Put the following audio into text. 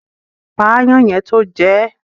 Pa aáyán yẹn tó jẹ ẹ́.